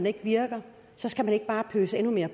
ikke virker skal der ikke bare pøses endnu mere